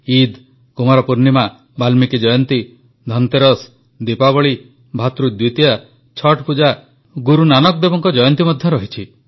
ଇଦ୍ କୁମାର ପୂର୍ଣ୍ଣିମା ବାଲ୍ମିକି ଜୟନ୍ତୀ ଧନତେରସ୍ ଦୀପାବଳୀ ଭାତୃଦ୍ୱିତୀୟା ଛଠ୍ ପୂଜା ଗୁରୁ ନାନକ ଦେବଙ୍କ ଜୟନ୍ତୀ ମଧ୍ୟ ରହିଛି